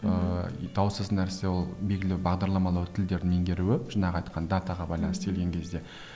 ыыы даусыз нәрсе ол белгілі бағдарламау тілдерін меңгеруі жаңағы айтқан датаға байланысты келген кезде